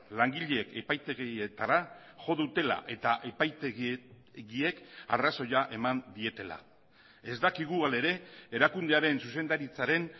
langileek epaitegietara jo dutela eta epaitegiek arrazoia eman dietela ez dakigu hala ere erakundearen zuzendaritzaren